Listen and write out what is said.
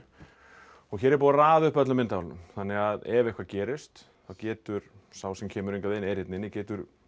og hér er búið að raða upp öllum myndavélunum þannig að ef eitthvað gerist þá getur sá sem kemur hingað inn er hérna inni getur